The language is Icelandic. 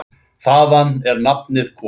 Þaðan er nafnið komið.